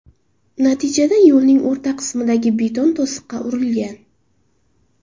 Natijada yo‘lning o‘rta qismidagi beton to‘siqqa urilgan.